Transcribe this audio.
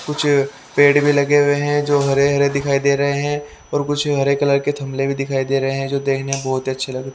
कुछ पेड़ भी लगे हुए हैं जो हरे हरे दिखाई दे रहे हैं और कुछ हरे कलर के थमले भी दिखाई दे रहे हैं जो देखने में बहुत ही अच्छे लग --